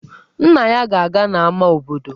Nna ya ga-aga n'ámá obodo.